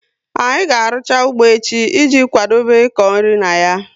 Anyị ga arucha ụgbọ echi i ji kwadobe iko nri na ya